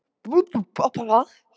Fía, viltu hoppa með mér?